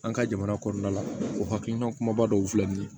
An ka jamana kɔnɔna la o hakilina kumaba dɔw filɛ nin ye